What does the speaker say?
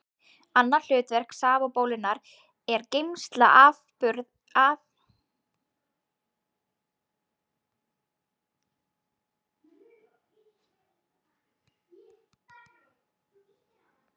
Annað hlutverk safabólunnar er geymsla afurða sem fruman hefur framleitt.